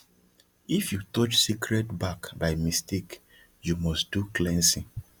if you touch sacred bark by mistake you must do cleansing